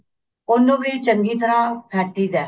ਉਹਨੂੰ ਵੀ ਚੰਗੀ ਤਰ੍ਹਾਂ ਫੇਟੀ ਦਾ